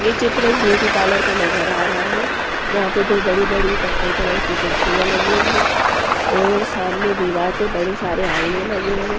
ये चित्र एक ब्यूटी पार्लर का नजर आ रहा हैं जहाँ पर दो बड़ी-बड़ी कत्थई कलर कुर्सियां लगी हैं और सामने दीवार पर बड़े सारे आयने लगे हैं।